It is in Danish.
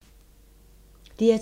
DR2